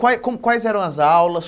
Quais como quais eram as aulas?